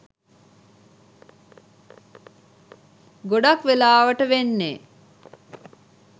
ගොඩක් වෙලාවට වෙන්නේ.